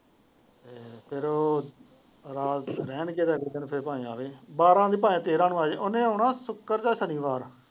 ਫੇਰ ਉਹ ਰਾਤ ਰਹਿਣ ਗਏ ਤੇ ਫੇਰ ਉਹ ਅਗਲੇ ਦਿਨ ਫੇਰ ਭਾਵੇ ਆਵੇ ਬਾਰਹ ਦੀ ਭਾਵੇ ਤੇਰ੍ਹ ਨੂੰ ਆ ਜਾਏ ਉਹਨੇ ਆਉਣਾ ਹੈ ਸ਼ੁਕਰ ਯਾ ਸ਼ਨੀਵਾਰ।